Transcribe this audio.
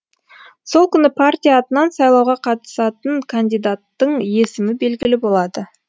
сол күні партия атынан сайлауға қатысатын кандидаттың есімі белгілі болады